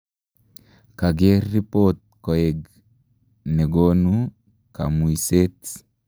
kager ripoot koeg negonu kamuiseet